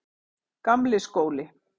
Gamli skóli